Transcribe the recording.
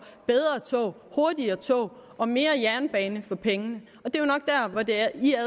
bedre tog hurtigere tog og mere jernbane for pengene og det er jo